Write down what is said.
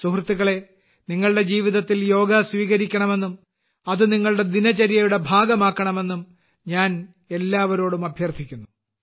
സുഹൃത്തുക്കളേ നിങ്ങളുടെ ജീവിതത്തിൽ യോഗ സ്വീകരിക്കണമെന്നും അത് നിങ്ങളുടെ ദിനചര്യയുടെ ഭാഗമാക്കണമെന്നും ഞാൻ എല്ലാവരോടും അഭ്യർത്ഥിക്കുന്നു